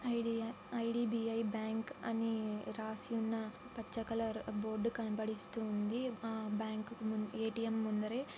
ID IDBI bank అని రాసి ఉన్న పచ్చ కలర్ బోర్డు కనబడిస్తుంది. ఆ బ్యాంకు కి ఏ.టీ.ఎం. ముందరే --